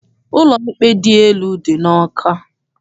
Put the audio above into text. Ụlọikpe dị elu dị n'Awka.